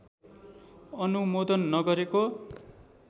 अनुमोदन नगरेको